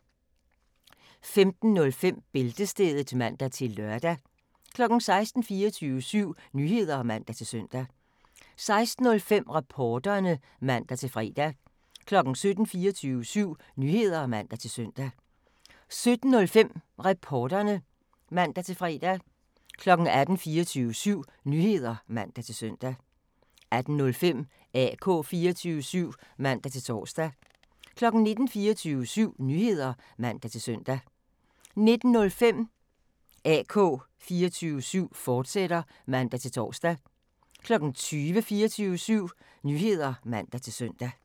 15:05: Bæltestedet (man-lør) 16:00: 24syv Nyheder (man-søn) 16:05: Reporterne (man-fre) 17:00: 24syv Nyheder (man-søn) 17:05: Reporterne (man-fre) 18:00: 24syv Nyheder (man-søn) 18:05: AK 24syv (man-tor) 19:00: 24syv Nyheder (man-søn) 19:05: AK 24syv, fortsat (man-tor) 20:00: 24syv Nyheder (man-søn)